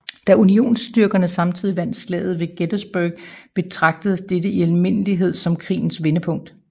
Da unionsstyrkerne samtidig vandt Slaget ved Gettysburg betragtes dette i almindelighed som krigens vendepunkt